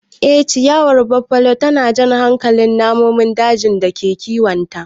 Ee ciyawar Buffalo tana jan hankalin namun daji da kiwonta.